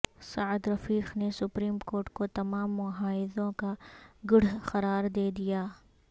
سعد رفیق نے supreme court کو تمام محاذوں کا گڑھ قرار دے دیا